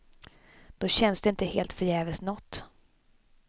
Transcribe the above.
Då känns det inte helt förgäves nåt.